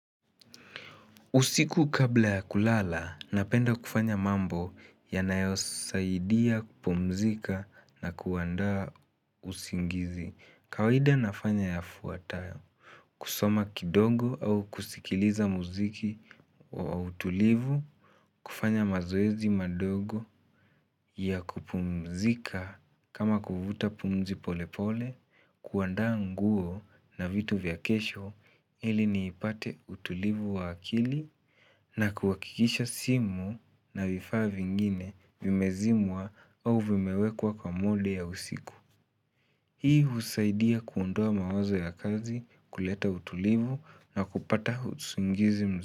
Usiku kabla ya kulala, napenda kufanya mambo yanayosaidia kupumzika na kuandaa usingizi. Kawaida nafanya yafuatayo, kusoma kidogo au kusikiliza muziki wa utulivu, kufanya mazoezi madogo ya kupumzika kama kuvuta pumzi pole pole, kuandaa nguo na vitu vya kesho ili niipate utulivu wa akili na kuhakikisha simu na vifaa vingine vimezimwa au vimewekwa kwa mode ya usiku. Hii husaidia kuondoa mawazo ya kazi kuleta utulivu na kupata usingizi mzu.